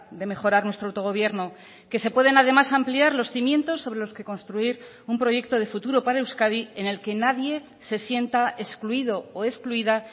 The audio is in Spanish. de mejorar nuestro autogobierno que se pueden además ampliar los cimientos sobre los que construir un proyecto de futuro para euskadi en el que nadie se sienta excluido o excluida